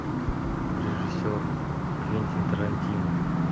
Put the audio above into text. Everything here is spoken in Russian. режиссер квентин тарантино